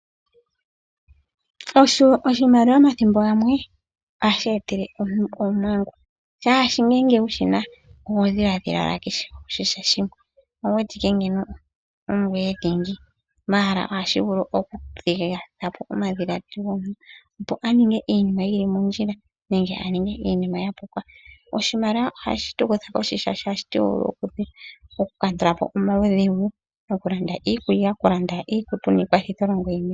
Oshimaliwa omathimbo gamwe ohashi etele aantu omadhiladhilo gi ili no gi ili. Oho kala wu wete owala ongoye dhingi, oshimaliwa ohashi tu kutha kohi molwashoka ohashi tu kwathele moku kandulapo omaudhigu ngashi mokulanda iikutu, iikulya niikwathitholongo yimwe.